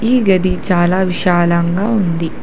ఈ గది చాలా విశాలంగా ఉంది.